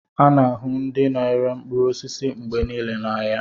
A na-ahụ ndị na-ere mkpụrụ osisi mgbe niile n'ahịa